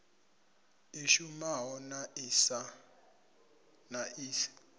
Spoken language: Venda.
i shumaho na i si